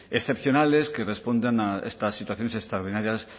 excepcionales que respondan a estas situaciones extraordinarias